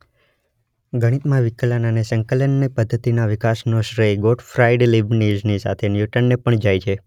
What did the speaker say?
ગણિતમાં વિકલન અને સંકલનની પદ્ધતિના વિકાસનો શ્રેય ગોટફ્રાઇડ લીબનીઝની સાથે ન્યૂટનને પણ જાય છે.